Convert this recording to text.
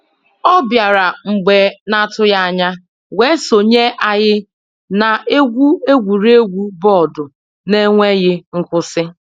ọ bịara mgbe n'atụghị anya wee sonye anyị na-egwu egwuregwu bọọdụ n'enweghị nkwụsị.